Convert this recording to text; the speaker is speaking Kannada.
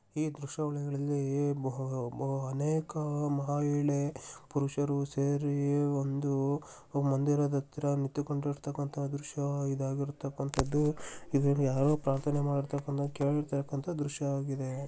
ಈ ದೃಶ್ಯಾವಳಿಗಳಲ್ಲಿ ಬ-ಬ- ಅನೇಕ ಮಹಿಳೆ ಪುರುಷರು ಸೇರಿ ಒಂದು ಮಂದಿರದತ್ರ ನಿಂತುಕೊಂಡಿರ್ತಕ್ಕಂತ ದೃಶ್ಯ ಇದಾಗಿರುತ್ತಕಂಥದ್ದು. ಇದರಲ್ಲಿ ಯಾರೋ ಪ್ರಾರ್ಥನೆ ಮಾಡತಕ್ಕಂಥದ್ದನ್ನ ಕೇಳತಕ್ಕಂತ ದೃಶ್ಯವಾಗಿದೆ.